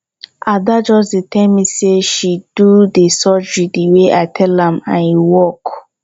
ada just dey tell me say she do the surgery the way i tell am and e work